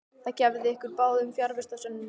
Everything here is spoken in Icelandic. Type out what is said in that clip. Það hefði gefið ykkur báðum fjarvistarsönnun.